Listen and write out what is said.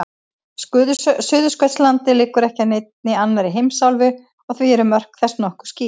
Suðurskautslandið liggur ekki að neinni annarri heimsálfu og því eru mörk þess nokkuð skýr.